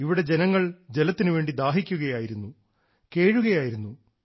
ഇവിടെ ജനങ്ങൾ ജലത്തിനുവേണ്ടി ദാഹിക്കുകയായിരുന്നു കേഴുകയായിരുന്നു